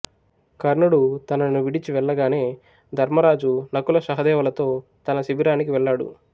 కర్ణుడు తనను విడిచి వెళ్ళగానే ధర్మరాజు నకుల సహదేవులతో తన శిబిరానికి వెళ్ళాడు